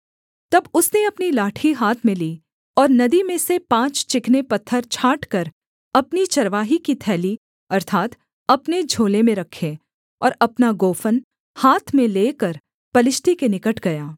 तब उसने अपनी लाठी हाथ में ली और नदी में से पाँच चिकने पत्थर छाँटकर अपनी चरवाही की थैली अर्थात् अपने झोले में रखे और अपना गोफन हाथ में लेकर पलिश्ती के निकट गया